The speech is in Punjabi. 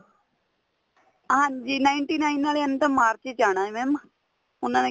ਹਾਂਜੀ ninety nine ਆਲਿਆ ਨੇ ਤਾਂ ਮਾਰਚ ਵਿੱਚ ਆਣਾ ਏ ਉਹਨਾ ਨੇ